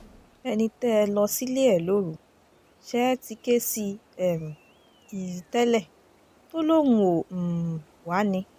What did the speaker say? ẹni tẹ́ ẹ lọ sílé ẹ lóru ṣe é ti ké sí um i tẹ́lẹ̀ tó lóun ò um wá ni